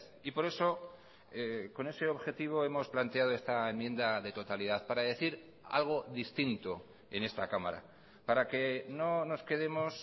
y por eso con ese objetivo hemos planteado esta enmienda de totalidad para decir algo distinto en esta cámara para que no nos quedemos